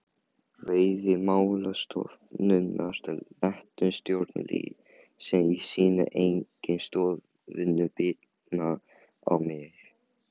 Veiðimálastofnunar létu stjórnleysi í sínum eigin stofnunum bitna á mér.